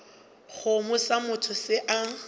kgomo sa motho se a